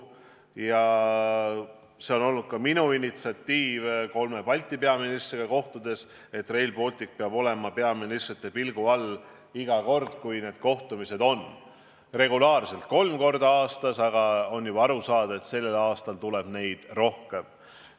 Ja see on olnud ka minu initsiatiiv kolme Balti peaministriga kohtudes, et Rail Baltic peab olema peaministrite pilgu all iga kord, kui need kohtumised toimuvad – regulaarselt kolm korda aastas –, aga on juba aru saada, et sellel aastal tuleb neid rohkem.